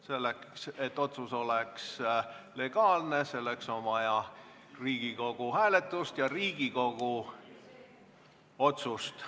Selleks, et otsus oleks legaalne, on vaja Riigikogu hääletust ja Riigikogu otsust.